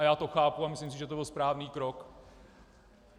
A já to chápu a myslím si, že to byl správný krok.